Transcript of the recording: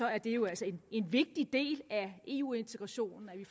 er det jo altså en vigtig del af eu integrationen at vi